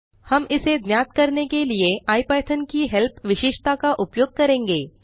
हम इसे ज्ञात करने के लिए इपिथॉन की हेल्प विशेषता का उपयोग करेंगे